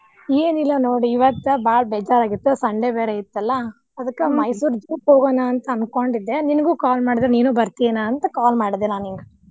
ಏನಿಲ್ಲಾ ನೋಡ್ ಇವತ್ ಬಾಳ ಬೇಜಾರ್ ಆಗಿತ್ತ್ Sunday ಬೇರೆ ಇತ್ತಲ್ಲಾ ಅದ್ಕ ಮೈಸೂರ್ zoo ಹೋಗೋಣಾ ಅನ್ಕೊಂಡಿದ್ದೆ ನಿನಗೂ call ಮಾಡಿದ್ರ್ ನೀನು ಏನ್ ಅಂತ call ಮಾಡಿದೆ ನಾ ನಿನಗ.